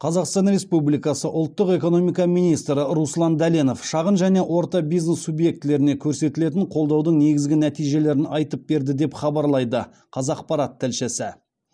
қазақстан республикасы ұлттық экономика министрі руслан дәленов шағын және орта бизнес субъектілеріне көрсетілетін қолдаудың негізгі нәтижелерін айтып берді деп хабарлайды қазақпарат тілшісі